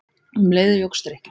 Um leið jókst drykkjan.